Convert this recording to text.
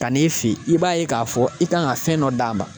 Ka n'i fe yen i b'a ye k'a fɔ i kan ka fɛn dɔ d'a ma